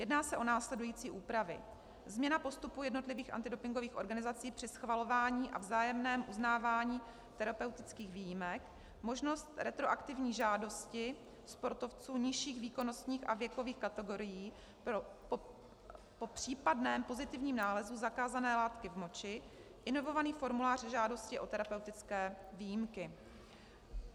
Jedná se o následující úpravy: změna postupu jednotlivých antidopingových organizací při schvalování a vzájemném uznávání terapeutických výjimek, možnost retroaktivní žádosti sportovců nižších výkonnostních a věkových kategorií po případném pozitivním nálezu zakázané látky v moči, inovovaný formulář žádosti o terapeutické výjimky.